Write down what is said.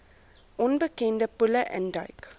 onbekende poele induik